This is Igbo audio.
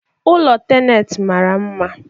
ụlọ tenet mara mma